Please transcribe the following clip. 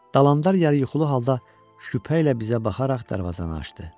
Dalanlar yarı yuxulu halda şübhə ilə bizə baxaraq darvazanı açdı.